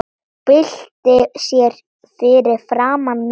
Byltir sér fyrir framan mig.